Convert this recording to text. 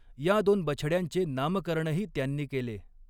या दोन बछड्यांचे नामकरणही त्यांनी केले.